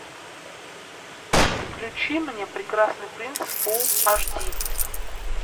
включи мне прекрасный принц фул аш ди